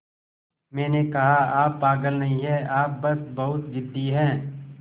मैंने कहा आप पागल नहीं हैं आप बस बहुत ज़िद्दी हैं